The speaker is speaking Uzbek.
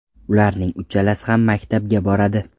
Ularning uchalasi ham maktabga boradi.